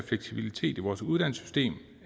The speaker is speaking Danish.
fleksibilitet i vores uddannelsessystem